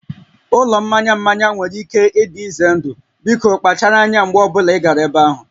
Ụlọ mmanya mmanya nwere ike ịdị ize ndụ, biko kpachara anya mgbe ọ bụla ị gara ebe ahụ